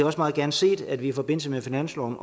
også meget gerne set at vi i forbindelse med finansloven